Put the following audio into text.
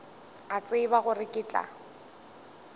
a tseba gore ke tla